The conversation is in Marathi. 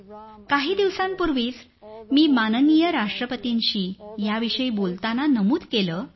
काही दिवसांपूर्वीच मी माननीय राष्ट्रपतींना याविषयी बोलताना नमूद केलं असावं